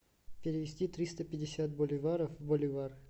перевести триста пятьдесят боливаров в боливар